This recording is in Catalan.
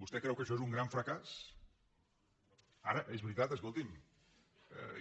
vostè creu que això és un gran fracàs ara és veritat escolti’m